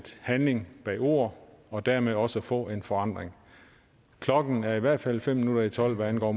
handling bag ord for dermed også at få en forandring klokken er i hvert fald fem minutter i tolv hvad angår